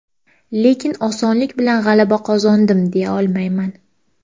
Lekin osonlik bilan g‘alaba qozondim, deya olmayman.